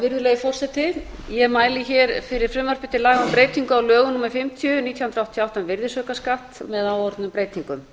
virðulegi forseti ég mæli hér fyrir frumvarpi til laga um breytingu á lögum númer fimmtíu nítján hundruð áttatíu og átta um virðisaukaskatt með áorðnum breytingum